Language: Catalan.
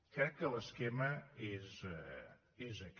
crec que l’esquema és aquest